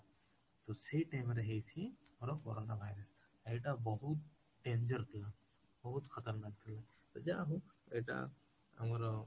ତ ସେଇ time ରେହେଇଛି ଆମ corona virus ଏଇଟା ବହୁତ danger ଥିଲା ବହୁତ ଥିଲା ତ ଯାହା ହଉ ଏଇଟା ଆମର